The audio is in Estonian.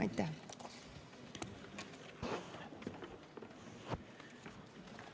Aitäh!